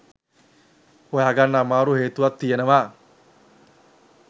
හොයාගන්න අමාරු හේතුවක් තියෙනවා.